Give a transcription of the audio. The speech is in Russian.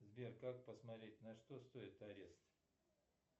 сбер как посмотреть на что стоит арест